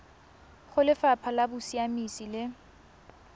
go lefapha la bosiamisi le